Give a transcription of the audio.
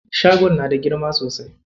Shagon na da girma sosai.